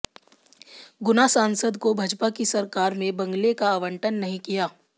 गुना सांसद को भाजपा की सरकार में बंगले का आवंटन नहीं किया